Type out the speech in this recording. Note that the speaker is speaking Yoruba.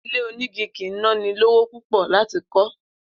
Ilé onígi kì í ná ni lówó púpò̩ láti kó̩